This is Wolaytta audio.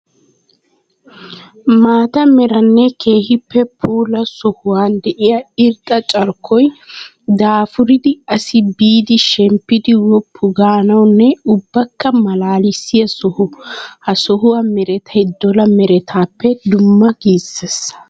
Maata meranne keehippe puula sohuwa de'iya irxxa carkkoy daafuridda asi biidi shemppiddi woppu gaanawunne ubbakka malaalisiya soho. Ha sohuwa merettay dolla merettappe dumma gisses.